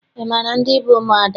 Ị maara ndị bụ ụmụada?